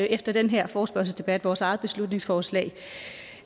efter den her forespørgselsdebat vores eget beslutningsforslag